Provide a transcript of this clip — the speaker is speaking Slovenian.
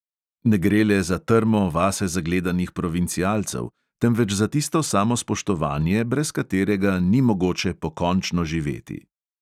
Ne gre le za trmo vase zagledanih provincialcev, temveč za tisto samospoštovanje, brez katerega ni mogoče pokončno živeti.